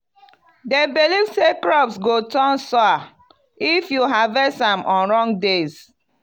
dem believe say crops go turn 'sour' if you harvest am on wrong days.